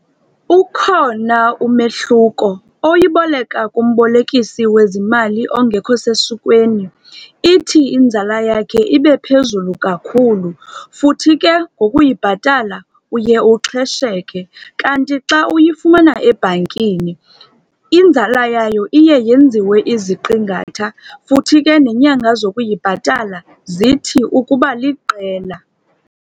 Ukhona umehluko oyiboleka kumbolekisi wezimali ongekho sesikweni. Ithi inzala yakhe ibe phezulu kakhulu futhi ke ngokuyibhatala, uye uxhesheke. Kanti xa uyifumana ebhankini, inzala yayo iye yenziwe iziqingatha futhi ke neenyanga zokuyibhatala, zithi ukuba liqela.